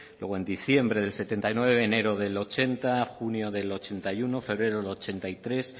luego en diciembre del setenta y nueve enero del ochenta junio del ochenta y uno febrero del ochenta y tres